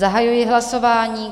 Zahajuji hlasování.